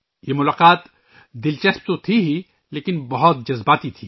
یہ ملاقات دلچسپ تو تھی ہی لیکن بہت جذباتی بھی تھی